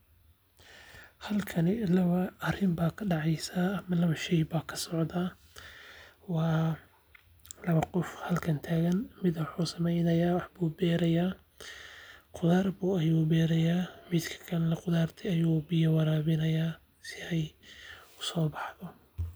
Halkani laba arin ayaa kadaceysa laba qof ayaa halkan taagan qudaar ayuu beeraya.